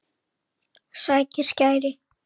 Sækir skæri.